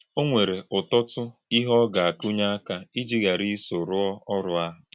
Ọ nwèrè̄ ụ́tọ́tụ̀ íhè̄ ọ gà - àkụ̀nyè̄ àkà̄ íjì̄ ghàrà̄ ísò̄ rù̄ọ̀ ọ̀rụ̀ àhụ̄.